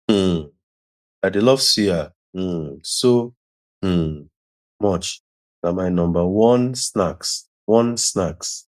um i dey love suya um so um much na my number one snacks one snacks